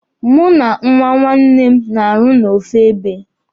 Mụ na nwa nwanne nne m na-arụ n'ofu ebe.